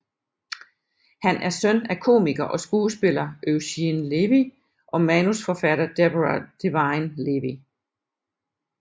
Han er søn af komiker og skuespiller Eugene Levy og manusforfatter Deborah Divine Levy